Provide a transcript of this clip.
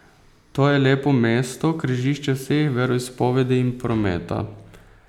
To je lepo mesto, križišče vseh veroizpovedi in prometa.